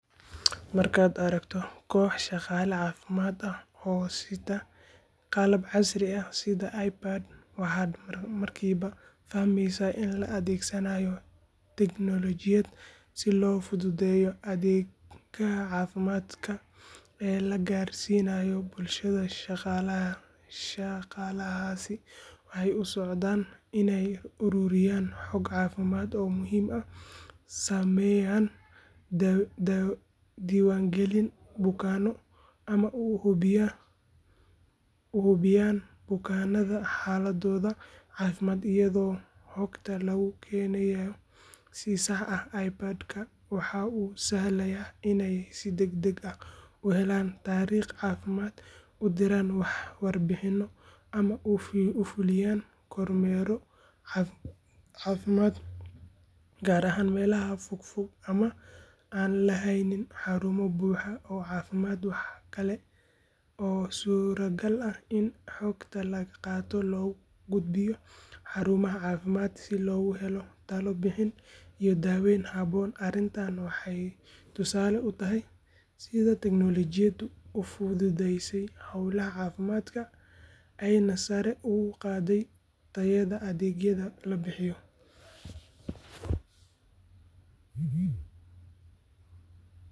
Markay aragtoh koox shaqala cafimad aah, oo sitah qalab si casri airbad waxat markiba fahmeeysah in markiba la adegsanayoh technology si lo futhutheysoh adega cafimdkaa lagarsinayoh bulshada iyo shaqalaha waxa u socdan Ina iyo ururiyaan waxa muhim sameeyn ah, dewangalinkalin bukanoo ugubyaan xaladaotha cafimad iyadoo xoogta logu keenaya waxa oo sahalaya inaya u helan tariq cafimad warbaxinoh amah u fuliyan kormeero kaar ahaan meelaha fogfog oo lu kudbiyoh xarumaha cafimad si loguheloh iyo daweeyn haboon ama waxa tusali u tahay setha ufthutheysay kudaha cafimdkaa AYANA sare ugu qaday iyoh.